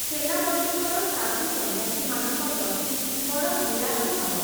ସେନାପତିଙ୍କର ସାଧୁ ସନ୍ନ୍ୟାସୀମାନଙ୍କ ପ୍ରତି ବଡ଼ ବିରାଗ ଭାବ ।